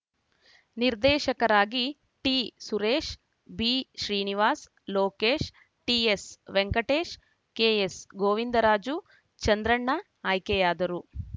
ನಿರ್ದೇಶಕರಾಗಿ ಟಿಸುರೇಶ್‌ ಬಿಶ್ರೀನಿವಾಸ್‌ ಲೋಕೇಶ್‌ ಟಿಎಸ್‌ವೆಂಕಟೇಶ್‌ ಕೆಎಸ್‌ಗೋವಿಂದರಾಜು ಚಂದ್ರಣ್ಣ ಆಯ್ಕೆಯಾದರು